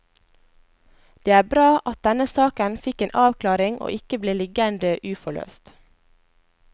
Det er bra at denne saken fikk en avklaring og ikke ble liggende uforløst.